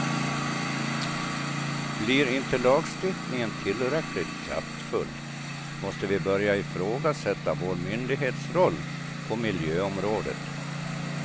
Blir inte lagstiftningen tillräckligt kraftfull måste vi börja ifrågasätta vår myndighetsroll på miljöområdet.